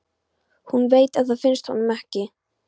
Hún veit að það finnst honum ekki.